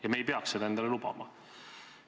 Ja me ei peaks seda endale lubama.